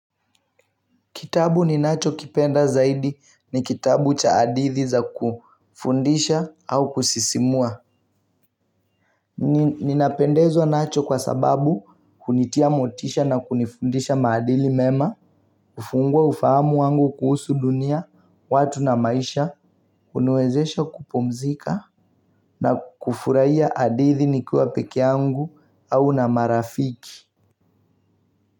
Kitabu ninachokipenda zaidi ni kitabu cha hadithi za kufundisha au kusisimua. Ninapendezwa nacho kwa sababu kunitia motisha na kunifundisha maadili mema. Kufungua ufahamu wangu kuhusu dunia, watu na maisha, huniwezesha kupumzika. Na kufurahia hadithi nikiwa peke yangu au na marafiki.